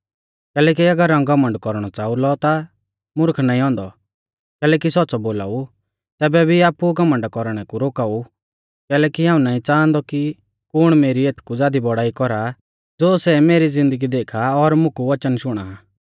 कैलैकि अगर हाऊं घमण्ड कौरणौ च़ाऊ लौ ता मुर्ख नाईं औन्दौ कैलैकि सौच़्च़ौ बोलाऊ तैबै भी आपु घमण्डा कौरणै कु रोका ऊ कैलैकि हाऊं नाईं च़ांहादौ कि कुण मेरी एथकु ज़ादी बौड़ाई कौरा ज़ो सै मेरी ज़िन्दगी देखा और मुकु वचन शुणा आ